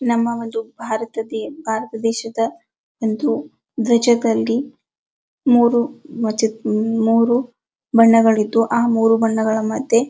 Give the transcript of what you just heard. ನಮ್ಮ ಒಂದು ಭಾರತ ದೇಶದ ಒಂದು ಧ್ವಜದಲ್ಲಿ ಮೂರೂ ಬಣ್ಣಗಳಿದ್ದು ಆ ಮೂರೂ ಬಣ್ಣಗಳ ಮದ್ಯೆ-